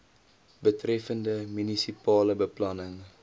betreffende munisipale beplanning